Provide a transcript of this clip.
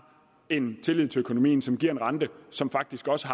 en tillid til økonomien som giver en rente som faktisk også